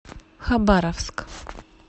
хабаровск